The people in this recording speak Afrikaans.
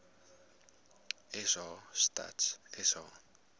sa stats sa